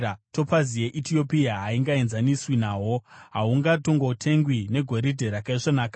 Topazi yeEtiopia haingaenzaniswi nahwo; hahungatongotengwi negoridhe rakaisvonaka.